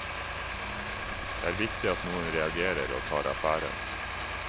Det er viktig at noen reagerer og tar affære.